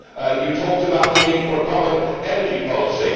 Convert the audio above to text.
You talked about the need for a common energy policy.